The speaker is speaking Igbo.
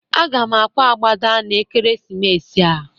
Aga m akwa agbada n'ekeresimesi a.